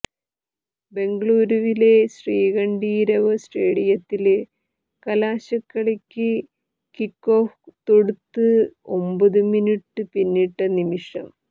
ബെംഗളൂരുവിലെ ശ്രീകണ്ഠീരവ സ്റ്റേഡിയത്തില് കലാശക്കളിക്ക് കിക്കോഫ് തൊടുത്ത് ഒമ്പത് മിനുറ്റ് പിന്നിട്ട നിമിഷം